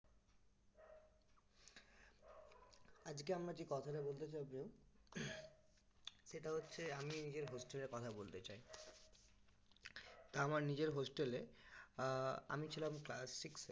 আজকে আমরা যে কথাটা বলতে যাব সেটা হচ্ছে আমি নিজে hostel এর কথা বলতে চাই তা আমার hostel এ আমি ছিলাম class six